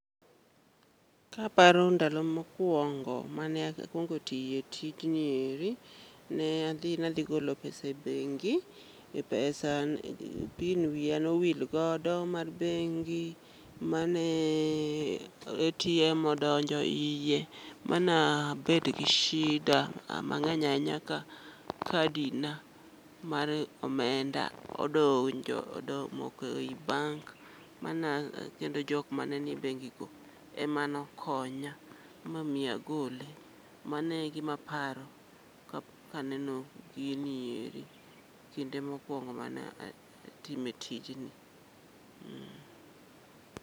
Kaparo ndalo mokwongo mane akwongo tiye tijni eri, ne adhi nadhi golo pesa e bengi pin wiya nowil godo mar bengi mane atm odonjo iye manabet gi shida mang'eny ahinya ka kadina mar omenda omoko e i bank mana kendo jok ma ne i bengi go ema nokonya momiyo agole mane gimaparo kaneno gini eri kinde mokwongo manatime tijni.